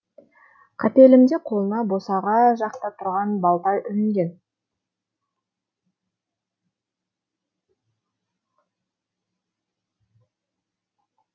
қапелімде қолына босаға жақта тұрған балта ілінген